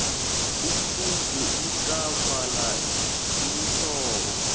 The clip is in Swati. umfundzi utawubhala tinhlobo